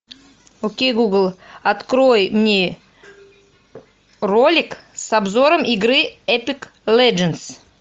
окей гугл открой мне ролик с обзором игры эпик леджендс